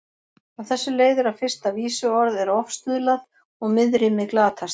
Af þessu leiðir að fyrsta vísuorð er ofstuðlað og miðrímið glatast.